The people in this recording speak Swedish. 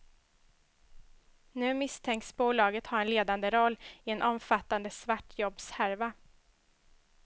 Nu misstänks bolaget ha en ledande roll i en omfattande svartjobbshärva.